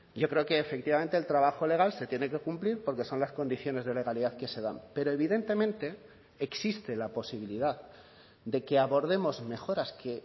yo creo que efectivamente el trabajo legal se tiene que cumplir porque son las condiciones de legalidad que se dan pero evidentemente existe la posibilidad de que abordemos mejoras que